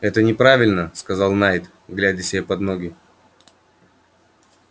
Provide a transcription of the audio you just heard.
это неправильно сказал найд глядя себе под ноги